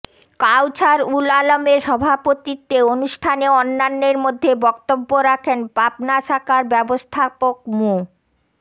কাওছার উল আলমের সভাপতিত্বে অনুষ্ঠানে অন্যান্যের মধ্যে বক্তব্য রাখেন পাবনা শাখার ব্যবস্থাপক মো